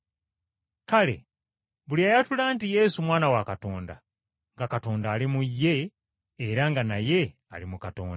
Kale buli ayatula nti Yesu Mwana wa Katonda, nga Katonda ali mu ye era nga naye ali mu Katonda.